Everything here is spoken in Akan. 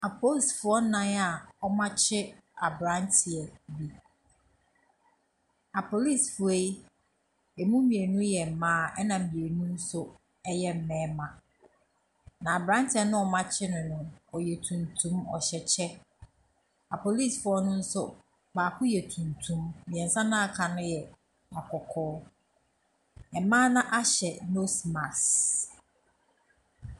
Apolisifoɔ nnan a wɔakye aberanteɛ bi. Apolisifoɔ yi, mu mmienu yɛ mma, ɛna mmienu nso yɛ mmarima. Na aberanteɛ no a wɔakye no no, ɔyɛ tuntum, ɔhyɛ kyɛ. Apolisifoɔ no nso, baako yɛ tuntum, mmeɛnsa no a wɔaka no yɛ akɔkɔɔ. Mmaa no ahyɛ nose mask.